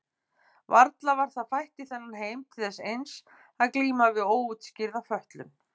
Varla var það fætt í þennan heim til þess eins að glíma við óútskýrða fötlun?